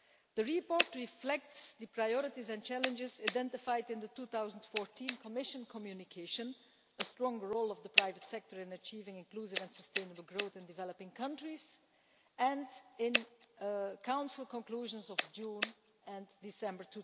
The report reflects the priorities and challenges identified in the 2014 Commission communication, A stronger role of the private sector in achieving inclusive and sustainable growth in developing countries', and in the Council conclusions of June and December